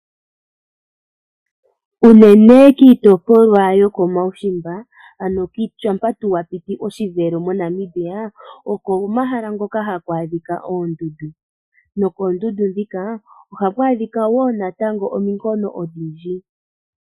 Unene tuu kiitopolwa yoko mawushimba ano shampa tuu wapiti oshivelo moNamibia oko mahala ngoka haku adhika oondundu nokoondundu dhika oha ku adhika woo natango ominkono ondhindji.